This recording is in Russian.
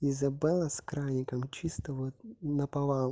изабелла с краником чисто вот наповал